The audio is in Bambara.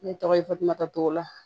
Ne tɔgɔ ye fatumata togola